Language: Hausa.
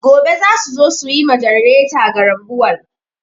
Gobe za su zo su yi ma ganareta garambawul.